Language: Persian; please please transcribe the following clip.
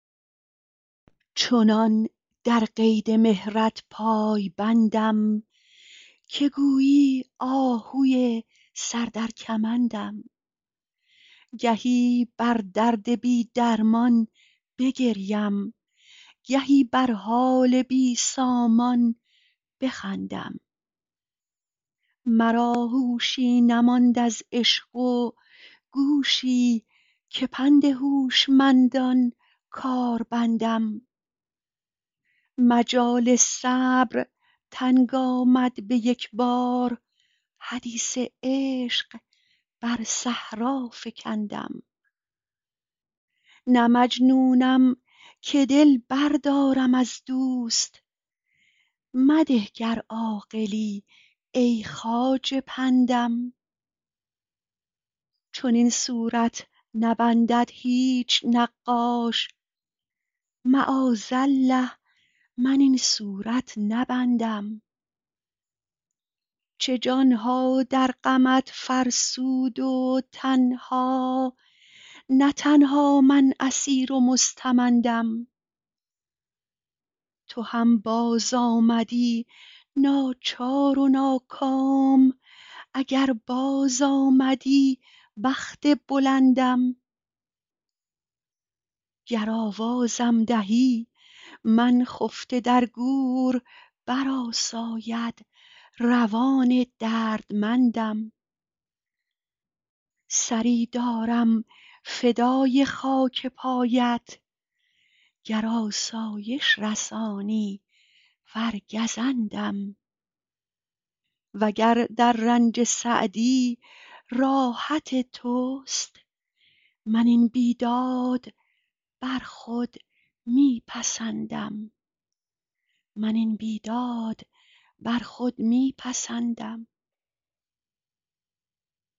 چنان در قید مهرت پای بندم که گویی آهوی سر در کمندم گهی بر درد بی درمان بگریم گهی بر حال بی سامان بخندم مرا هوشی نماند از عشق و گوشی که پند هوشمندان کار بندم مجال صبر تنگ آمد به یک بار حدیث عشق بر صحرا فکندم نه مجنونم که دل بردارم از دوست مده گر عاقلی ای خواجه پندم چنین صورت نبندد هیچ نقاش معاذالله من این صورت نبندم چه جان ها در غمت فرسود و تن ها نه تنها من اسیر و مستمندم تو هم بازآمدی ناچار و ناکام اگر بازآمدی بخت بلندم گر آوازم دهی من خفته در گور برآساید روان دردمندم سری دارم فدای خاک پایت گر آسایش رسانی ور گزندم و گر در رنج سعدی راحت توست من این بیداد بر خود می پسندم